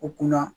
U kunna